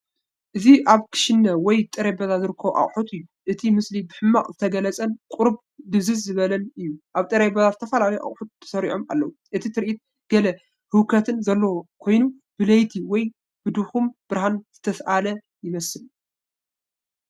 እዚ ኣብ ክሽነ ወይ ጠረጴዛ ዝርከቡ ኣቑሑት እዩ። እቲ ምስሊ ብሕማቕ ዝተገልጸን ቁሩብ ድብዝዝ ዝበለን እዩ። ኣብ ጠረጴዛ ዝተፈላለዩ ኣቑሑት ተሰሪዖም ኣለዉ። እቲ ትርኢት ገለ ህውከት ዘለዎ ኮይኑ ብለይቲ ወይ ኣብ ድኹም ብርሃን ዝተሳእለ ይመስል።